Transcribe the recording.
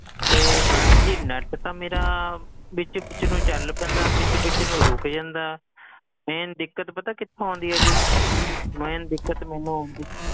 ਇਹ madam ji net ਤਾਂ ਮੇਰਾ ਵਿੱਚ ਵਿੱਚ ਨੂੰ ਚੱਲ ਪੈਂਦਾ ਵਿੱਚ ਵਿੱਚ ਨੂੰ ਰੁਕ ਜਾਂਦਾ main ਦਿੱਕਤ ਪਤਾ ਕਿਥੋਂ ਆਉਂਦੀ ਆ ਜੀ main ਦਿੱਕਤ ਮੈਨੂੰ ਆਉਂਦੀ,